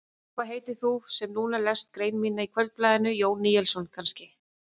Hvað heitir þú sem núna lest grein mína í Kvöldblaðinu, Jón Níelsson kannski?